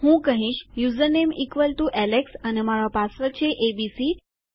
હું કહીશ username equal to Alex અને મારો પાસવર્ડ છે એબીસી